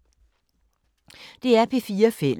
DR P4 Fælles